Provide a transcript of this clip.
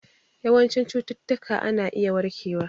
Yawancin cututtuka ana iya warkewa